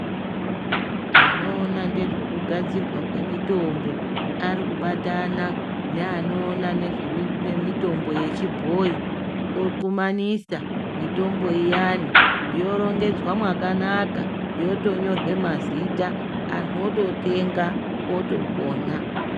Vanoona ngezvekugadzirwa kwemitombo ari kubatana neanoona nezvemitombo yechibhoyi okumanisa mitombo iyani yorongedzwa makanaka yotonyora mazita antu ototenga otopona.